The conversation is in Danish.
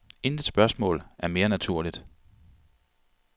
Intet spørgsmål er mere naturligt.